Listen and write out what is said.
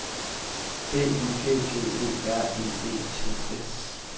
B Y G G E R I E T S